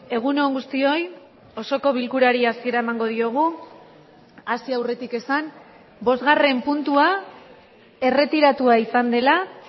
egun on guztioi osoko bilkurari hasiera emango diogu hasi aurretik esan bosgarren puntua erretiratua izan dela